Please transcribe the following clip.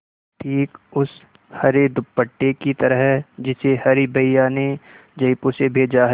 ठीक उस हरे दुपट्टे की तरह जिसे हरी भैया ने जयपुर से भेजा है